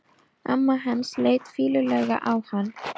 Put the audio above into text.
Amma hans leit fýlulega á hann.